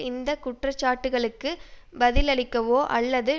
இந்த குற்றச்சாட்டுக்களுக்கு பதிலளிக்கவோ அல்லது